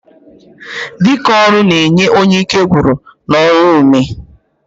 Dike ọrụ n'enye onye ike nwụrụ n'ọrụ ume.